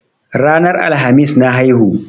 Ranar Alhamis na haihu.